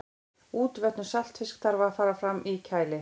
útvötnun saltfisks þarf að fara fram í kæli